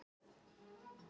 Þrír þingmenn sátu hjá